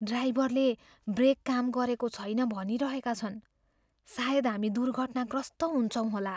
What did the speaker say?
ड्राइभरले ब्रेक काम गरेको छैन भनिरहेका छन्। सायद हामी दुर्घटनाग्रस्त हुन्छौँ होला।